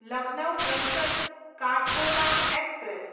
Lucknow junction Kathgodam express